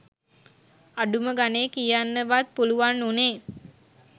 අඩුම ගනේ කියන්න වත් පුලුවන් උනේ